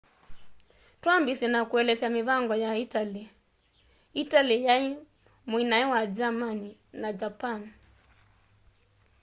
twambiisye na kuelesya mivango ya italy italy yai muinae wa germany na japan